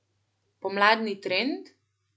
Pomladni trend?